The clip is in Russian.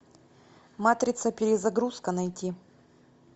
матрица перезагрузка найти